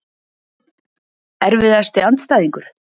Erfiðasti andstæðingur?